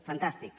fantàstic